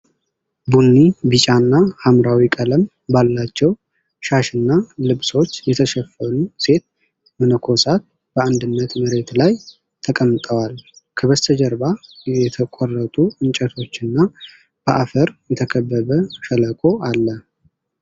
ቡኒ፣ ቢጫና ሐምራዊ ቀለም ባላቸው ሻሽና ልብሶች የተሸፈኑ ሴት መነኮሳት በአንድነት መሬት ላይ ተቀምጠዋል። ከበስተጀርባ የተቆረጡ እንጨቶችና በአፈር የተከበበ ሸለቆ አለ።